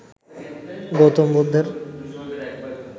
গৌতম বুদ্ধের